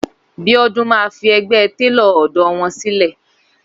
Bíódún máa fi ẹgbẹ́ Télò ọ̀dọ́ wọn sílẹ̀.